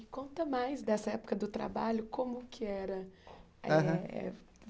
Me conta mais dessa época do trabalho, como que era? Aham eh